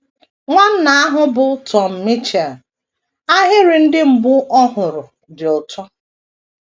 Nwanna ahụ bụ Tom Mitchell, ahịrị ndị mbụ ọ fụrụ dị ụtọ.